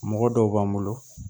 Mɔgɔ dɔw b'an bolo